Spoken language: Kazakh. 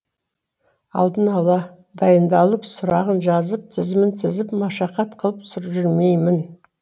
алдын ала дайындалып сұрағын жазып тізімін тізіп машақат қылып жүрмеймін